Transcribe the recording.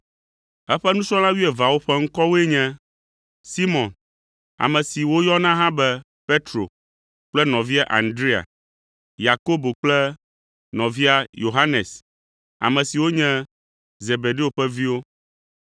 Eƒe nusrɔ̃la wuieveawo ƒe ŋkɔwoe nye: Simɔn (ame si woyɔna hã be Petro) kple nɔvia Andrea, Yakobo kple nɔvia Yohanes, ame siwo nye Zebedeo ƒe viwo,